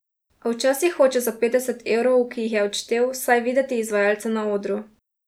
A včasih hoče za petdeset evrov, ki jih je odštel, vsaj videti izvajalce na odru.